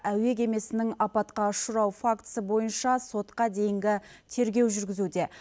әуе кемесінің апатқа ұшырау фактісі бойынша сотқа дейінгі тергеу жүргізуде